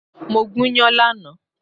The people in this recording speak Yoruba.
Mo gúnyán lánàá